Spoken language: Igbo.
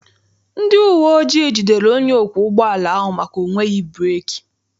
Ndị uwe ojii jidere onye ọkwọ ụgbọala ahụ maka ọ nweghị breeki.